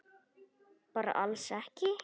Bara alls ekki?